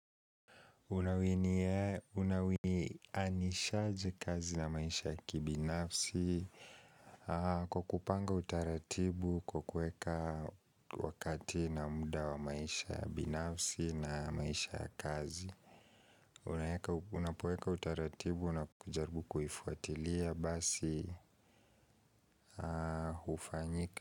Unawinianishaji kazi na maisha ya kibinafsi Kwa kupanga utaratibu kukueka wakati na muda wa maisha ya binafsi na maisha ya kazi Unapoeka utaratibu na kujaribu kuhifuatilia basi ufanyika.